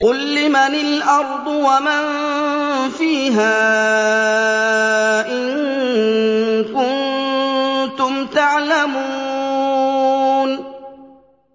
قُل لِّمَنِ الْأَرْضُ وَمَن فِيهَا إِن كُنتُمْ تَعْلَمُونَ